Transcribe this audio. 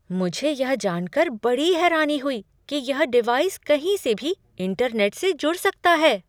मुझे यह जान कर बड़ी हैरानी हुई कि यह डिवाइस कहीं से भी इंटरनेट से जुड़ सकता है।